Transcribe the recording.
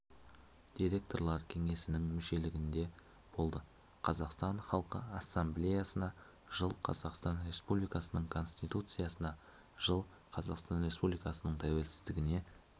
директорлар кеңесінің мүшелігінде болды қазақстан халқы ассамблеясына жыл қазақстан республикасының конституциясына жыл қазақстан республикасының тәуелсіздігіне